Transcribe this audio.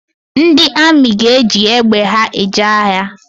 Ndị amị ga-eji egbe ha eje agha